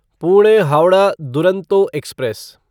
Pune Howrah Duronto express